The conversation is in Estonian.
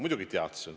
Muidugi teadsin.